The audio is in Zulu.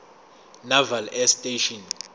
naval air station